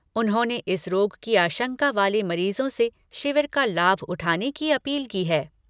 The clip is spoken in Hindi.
उन्होंने इस रोग की आशंका वाले मरीजों से शिविर का लाभ उठाने की अपील की है।